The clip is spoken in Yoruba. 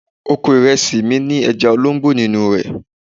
Oko ìrẹsì mi ní ẹja olóńgbò nínú rẹ̀.